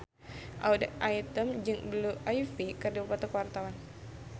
Audy Item jeung Blue Ivy keur dipoto ku wartawan